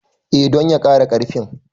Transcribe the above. E, don ya ƙara ƙarfin